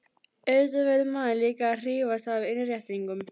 Auðvitað verður maður líka að hrífast af innréttingunum.